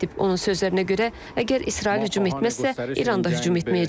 Onun sözlərinə görə, əgər İsrail hücum etməzsə, İran da hücum etməyəcək.